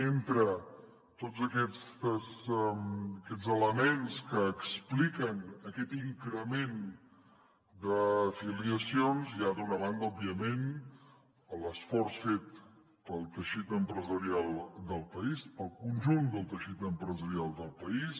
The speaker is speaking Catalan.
entre tots aquests elements que expliquen aquest increment d’afiliacions hi ha d’una banda òbviament l’esforç fet pel teixit empresarial del país pel conjunt del teixit empresarial del país